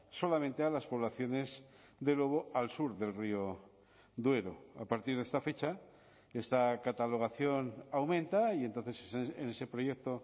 solamente a las poblaciones de lobo al sur del río duero a partir de esta fecha esta catalogación aumenta y entonces en ese proyecto